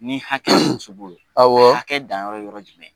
Ni hakɛ awɔ. Hakɛ danyɔrɔ ye yɔrɔ jumɛn?